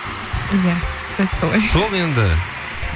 иә дәл солай сол енді